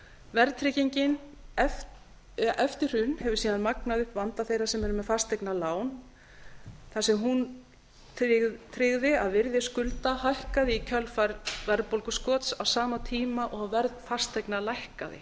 verðtryggingin eftir hrun hefur síðan magnað upp vanda þeirra sem eru með fasteignalán þar sem hún tryggði að virði skulda hækkaði í kjölfar verðbólguskots á sama tíma og verð fasteigna lækkaði